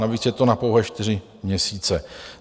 Navíc je to na pouhé čtyři měsíce.